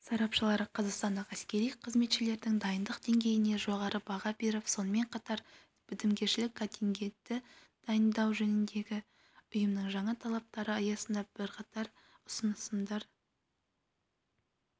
сарапшылары қазақстандық әскери қызметшілердің дайындық деңгейіне жоғары баға беріп сонымен қатар бітімгершілік контингентті дайындау жөніндегі ұйымның жаңа талаптары аясында бірқатар ұсынымдарды